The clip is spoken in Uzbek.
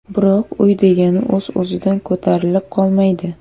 Biroq uy degani o‘z-o‘zidan ko‘tarilib qolmaydi.